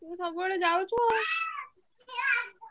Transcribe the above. ତୁ ସବୁବେଳେ ଯାଉଛୁ ଆଉ।